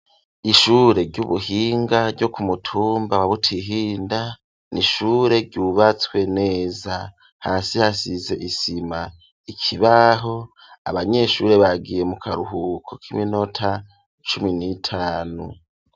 Ishure ry'ubuhinga ryo ku mutumba wa Butihinda n'ishure ryubatswe neza hasi hasize isima ikibaho abanyeshuri bagiye mu karuhuko k'iminota cumi n'itanu.